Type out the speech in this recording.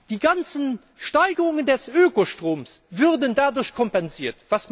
Die ganzen Preissteigungen bei Ökostrom würden dadurch kompensiert.